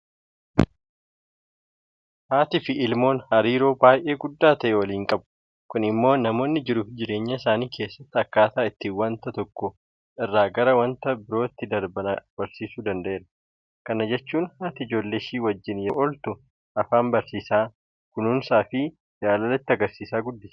Haatiifi ilmoon hariiroo baay'ee guddaa ta'e waliin qabu. Kun immoo namoonni jiruufi jireenya isaanii keessatti akkaataa ittiin waanta tokko irraa gara waanta biraatti darban barsiisuu danda'eera. Kana jechuun haati ijoollee ishee wajjin yeroo ooltu afaan barsiisaa, Kunuunsaafi jaalala itti agarsiisaa guddisti.